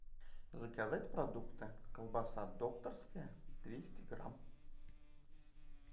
заказать продукты колбаса докторская двести грамм